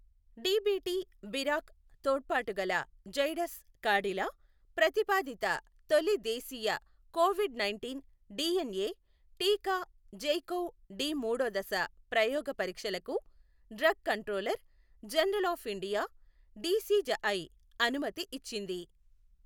DBT BIRAC తోడ్పాటుగల జైడస్ కాడిలా ప్రతిపాదిత తొలి దేశీయ కోవిడ్ నైంటీన్ డీఎన్ఏ టీకా జైకోవ్ డి మూడో దశ ప్రయోగ పరీక్షలకు drugs controller general of India DCGI అనుమతి ఇచ్చింది.